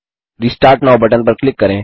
restart now button पर click करें